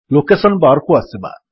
location bar କୁ ଆସିବା